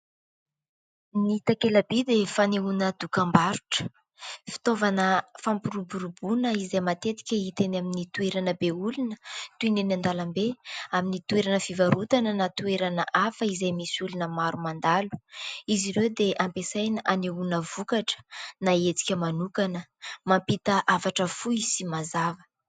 Ny takela-by dia fanehoana dokam-barotra. Fitaovana fampiroboroboana izay matetika hita eny amin'ny toerana be olona, toy ny eny an-dalambe ; amin'ny toerana fivarotana na toerana hafa izay misy olona maro mandalo. Izy ireo dia ampiasaina hanehoana vokatra na hetsika manokana. Mampita hafatra fohy sy mazava.